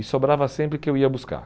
E sobrava sempre que eu ia buscar.